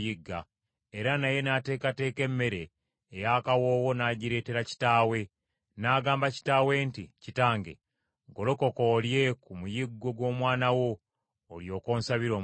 Era naye n’ateekateeka emmere ey’akawoowo n’agireetera kitaawe. N’agamba kitaawe nti, “Kitange golokoka olye ku muyiggo gw’omwana wo olyoke onsabire omukisa.”